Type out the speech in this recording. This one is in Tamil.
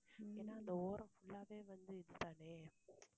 ஏன்னா அந்த ஓரம் full ஆவே வந்து, இதுதானே